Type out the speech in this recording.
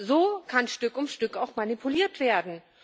So kann Stück um Stück auch manipuliert werden.